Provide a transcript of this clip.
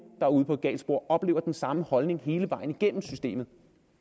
er ude på et galt spor oplever den samme holdning hele vejen igennem systemet